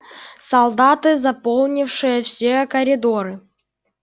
солдаты заполнившие все коридоры